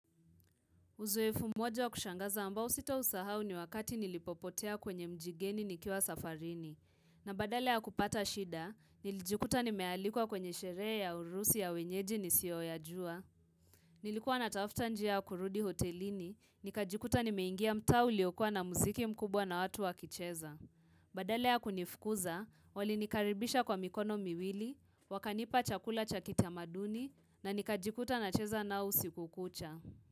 Uzoefu mmoja wa kushangaza ambao sitausahau ni wakati nilipopotea kwenye mji geni nikiwa safarini. Na badala ya kupata shida, nilijikuta nimealikuwa kwenye sherea ya harusi ya wenyeji nisiyoyajua. Nilikuwa natafta njia ya kurudi hotelini, nikajikuta nimeingia mtaa uliokua na musiki mkubwa na watu wa kicheza. Badala ya kunifukuza, walinikaribisha kwa mikono miwili, wakanipa chakula cha kitamaduni, na nikajikuta nacheza nao usiku kucha.